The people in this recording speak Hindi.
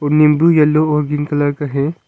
नींबू येलो और ग्रीन कलर का है।